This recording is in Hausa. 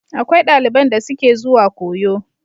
Akwai daliban da suke zuwa koyo.